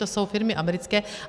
To jsou firmy americké.